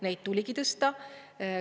Neid tuligi tõsta.